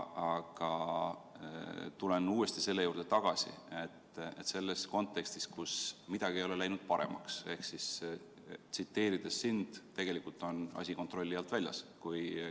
Aga tulen uuesti selle juurde, et midagi ei ole läinud paremaks, ehk tsiteerides sind, asi on tegelikult kontrolli alt väljas.